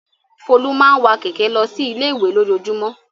Folú máa ń wa kẹ̀kẹ́ lọ sí ilé-ìwé lójoojúmọ́.